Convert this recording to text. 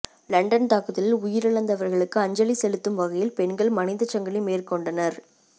London தாக்குதலில் உயிரிழந்தவர்களுக்கு அஞ்சலி செலுத்தும் வகையில் பெண்கள் மனிதச்சங்கிலி மேற்கொண்டனர்